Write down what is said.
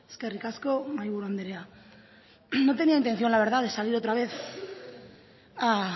eskerrik asko mahaiburu andrea no tenía intención la verdad de salir otra vez a